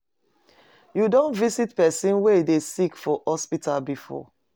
You don visit pesin wey dey sick for hospital before?